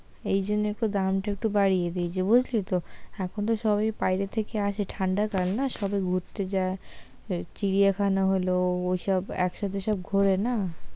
এই জন্য তো দাম টা একটু বাড়িয়ে দিয়েছে বুঝলি তো, এখন তো সবাই বাইরে থেকে আসে ঠান্ডা কাল না, সবাই ঘুরতে যায়, ওই চিড়িয়াখানা হলো ওইসব একসাথে সব ঘোরে না,